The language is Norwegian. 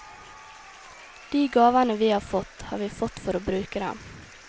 De gavene vi har fått, har vi fått for å bruke dem.